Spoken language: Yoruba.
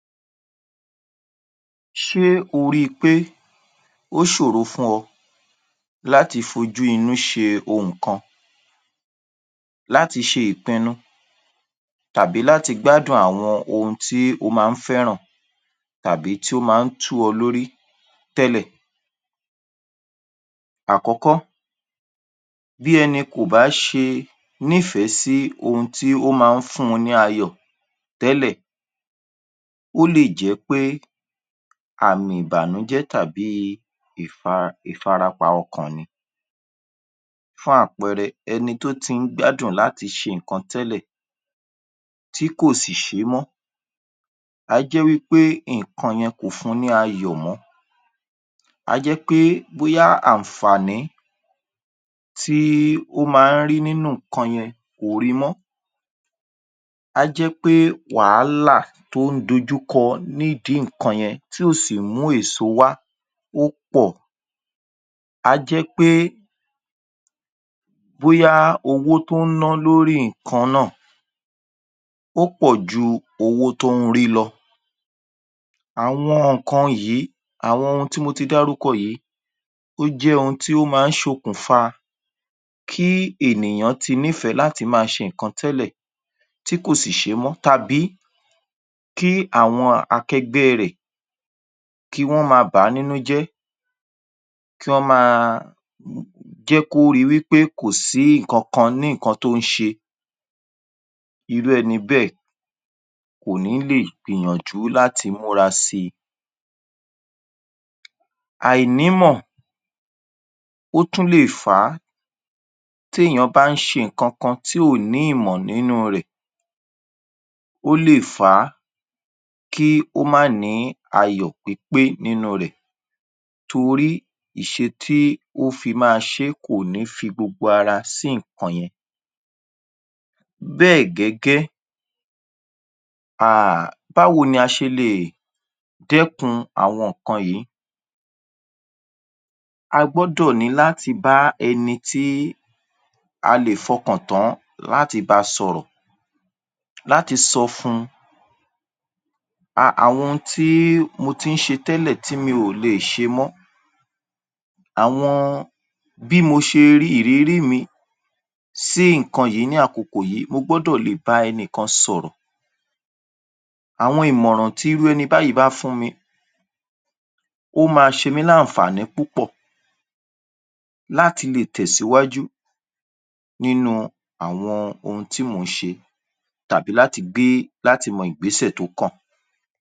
Ṣé o rí i pé ó ṣòro fún ọ láti fojú inú ṣe ohùn kan láti ṣe ìpinnu tàbí láti gbádùn àwọn ohun tí o máa ń fẹ́ràn tàbí tí ó máa ń tú ọ lórí tẹ́lẹ̀. Àkọ́kọ́, bí ẹni kò bá ṣe nífẹ̀ẹ́ sí ohun tí ó máa ń fun ní ayọ̀ tẹ́lẹ̀, ó lè jẹ́ pé àmì ìbánújẹ́ tàbí ifara ìfarapa ọkàn ni fún àpẹẹrẹ ẹni tó ti ń gbádùn láti ṣe nǹkan tẹ́lẹ̀ tí kò sì ṣé mọ́ á jẹ́ wí pé nǹkan yẹn kò fun ní ayọ̀ mọ́, á jẹ́ pé bóyá ààǹfàní tí ó máa ń rí nínú nǹkan yẹn kò ri mọ́, á jẹ́ pé wàhálà tó ń dojúkọ ní ìdí nǹkan yẹn tí ò sì mú èso wá ó pọ̀, á jẹ́ pé bóyá owó tó ń ná lórí nǹkan náà ó pọ̀ ju owó tó ń rí lọ. Àwọn nǹkan yìí àwọn nǹkan tí mo ti dárúkọ yìí ó jẹ́ ohun tí ó máa ń ṣokùnfa kí ènìyàn ti nífẹ̀ẹ́ láti máa ṣe nǹkan tẹ́lẹ̀ tí kò sì ṣé mọ́ tàbí kí àwọn akẹgbẹ́ rẹ̀ kí wọ́n máa bàá nínú jẹ́ kí wọ́n máa um jẹ́ kó ri wí pé kò sí nǹkankan ní nǹkan tó ń ṣe. Irú ẹni bẹ́ẹ̀ kò ní lè gbìyànjú láti múra sí i. Àìnímọ̀ ó tún lè fà á tí èèyàn bá ń ṣe nǹkankan tí ò ní ìmọ̀ nínú rẹ̀ ó lè fà á kí ó má ní ayọ̀ pípé nínú rẹ̀ torí ìṣe to fi máa ṣé kò ní fi gbogbo ara sí nǹkan yẹn. Bẹ́ẹ̀ gẹ́gẹ́ um báwo ni a ṣe lè dẹ́kun àwọn nǹkan yìí? A gbọ́dọ̀ ní láti bá ẹni tí a lè fọkàn tán láti bá a sọ̀rọ̀ láti sọ fun um àwọn ohun tí mo ti ń ṣe tẹ́lẹ̀ tí mi ò le è ṣe mọ́, àwọn bí mo ṣe rí ìrírí mi sí nǹkan yìí ní àkokò yìí mo gbúdọ̀ lè bá ẹnìkan sọ̀rọ̀. Àwọn ìmọ̀ràn tí irú ẹni báyìí bá fún mi ó máa ṣe mi l’áǹfàní púpọ̀ láti lè tẹ̀síwájú nínú àwọn ohun tí mò ń ṣe tàbí láti gbé láti mọ ìgbésẹ̀ tó kàn.